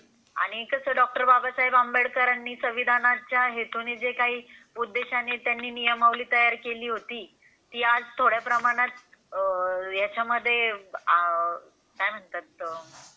आणि कसं डॉक्टर बाबासाहेब आंबेडकरांनी संविधानाच्या हेतूने काही उद्देशाने त्यांनी जी नियमावली तयार केली होती आज थोड्या प्रमाणात. याच्यामध्ये काय म्हणतात तर